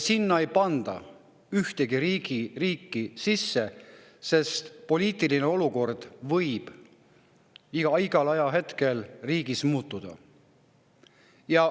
Sinna ei panda ühtegi riiki, sest poliitiline olukord võib igal ajahetkel igas riigis muutuda.